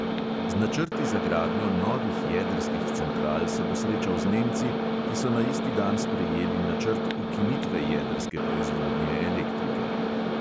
Z načrti za gradnjo novih jedrskih central se bo srečal z nemci, ki so na isti dan sprejeli načrt ukinitve jedrske proizvodnje elektrike.